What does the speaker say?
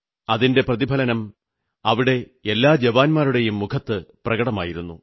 അതിന്റെ പ്രതിഫലനം അവിടെ എല്ലാ ജവാന്മാരുടെയും മുഖത്ത് പ്രകടമായിരുന്നു